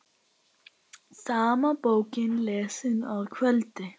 Sama bókin lesin að kvöldi.